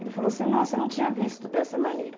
Ele falou assim, nossa, eu não tinha visto dessa maneira.